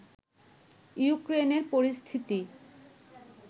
ইউক্রেনের পরিস্থিতি